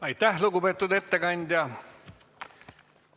Aitäh, lugupeetud ettekandja!